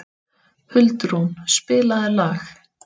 Huldrún, spilaðu lag.